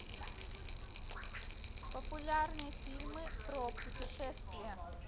популярные фильмы про путешествия